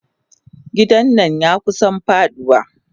Gidan nan yakusa faduwa.